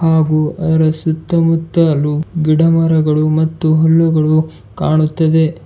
ಹಾಗೂ ಅದರ ಸುತ್ತಮುತ್ತಲು ಗಿಡ ಮರಗಳು ಮತ್ತು ಹುಲ್ಲುಗಳು ಕಾಣುತ್ತದೆ.